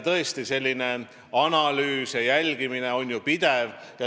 Tõesti, selline analüüs ja jälgimine on ju pidev.